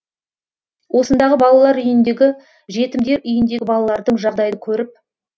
осындағы балалар үйіндегі жетімдер үйіндегі балалардың жағдайын көріп